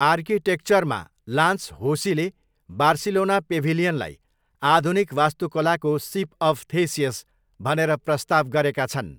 आर्किटेक्चरमा Lance होसीले Barcelona पेभिलियनलाई 'आधुनिक वास्तुकलाको सिप अफ थेसियस' भनेर प्रस्ताव गरेका छन्।